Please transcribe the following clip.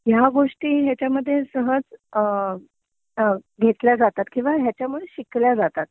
ह्या गोष्टी ह्याच्यामध्ये सहज घेतल्या जातात किंवा ह्यांच्यामुळे शिकल्या जातात